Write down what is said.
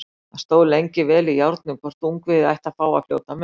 Það stóð lengi vel í járnum hvort ungviðið ætti að fá að fljóta með.